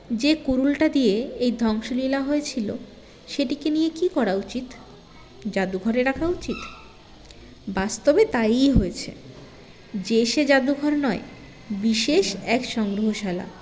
যে কুড়ুলটা দিয়ে এই ধ্বংসলীলা হয়েছিলো সেটিকে নিয়ে কী করা উচিত জাদুঘরে রাখা উচিত বাস্তবে তাইই হয়েছে যে সে জাদুঘর নয় বিশেষ এক সংগ্ৰহশালা